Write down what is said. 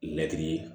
Mɛtiri ye